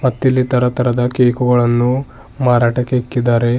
ಮತ್ತಿಲ್ಲಿ ತರ ತರದ ಕೇಕುಗಳನ್ನು ಮಾರಾಟಕ್ಕೆ ಇದ್ದಿದ್ದಾರೆ.